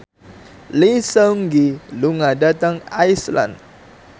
Lee Seung Gi lunga dhateng Iceland